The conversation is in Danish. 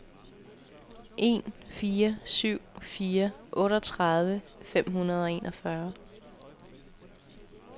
en fire syv fire otteogtredive fem hundrede og enogfyrre